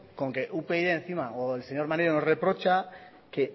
con que upyd encima o el señor maneiro nos reprocha que